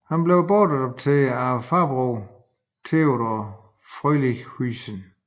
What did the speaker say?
Han blev adopteret af farbroderen Theodore Frelinghuysen